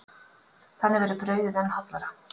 Þannig verður brauðið enn hollara.